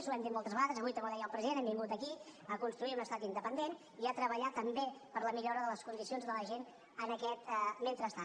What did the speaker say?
ho hem dit moltes vegades avui també ho deia el president hem vingut aquí a construir un estat independent i a treballar també per la millora de les condicions de la gent en aquest mentrestant